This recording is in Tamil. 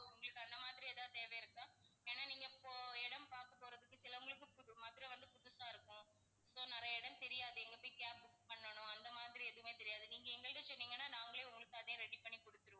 உங்களுக்கு அந்த மாதிரி ஏதாவது தேவை இருக்கா? ஏன்னா நீங்க இப்போ இடம் பாக்க போறதுக்கு சில உங்களுக்கு மதுரை வந்து புதுசா இருக்கும். நிறைய இடம் தெரியாது எங்க இருந்து cab book பண்ணணும் அந்த மாதிரி எதுவுமே தெரியாது. நீங்க எங்கக்கிட்ட சொன்னீங்கன்னா நாங்களே உங்களுக்கு அதையும் ready பண்ணி கொடுத்துருவோம்.